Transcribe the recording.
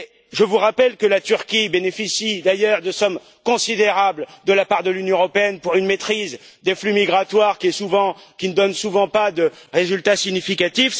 Je vous rappelle que la Turquie bénéficie par ailleurs de sommes considérables de la part de l'Union européenne pour une maîtrise des flux migratoires, qui ne donne souvent pas de résultat significatif.